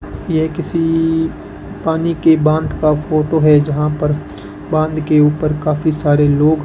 यह किसी पानी के बांध का फोटो है जहां पर बांध के ऊपर काफी सारे लोग --